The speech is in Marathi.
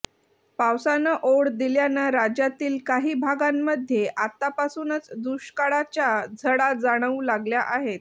पावसानं ओढ दिल्यानं राज्यातील काही भागांमध्ये आत्तापासूनच दुष्काळाच्या झळा जाणवू लागल्या आहेत